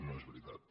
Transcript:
no és veritat